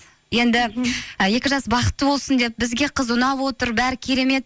енді ы екі жас бақытты болсын деп бізге қыз ұнап отыр бәрі керемет